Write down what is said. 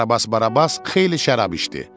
Karabas Barabas xeyli şərab içdi.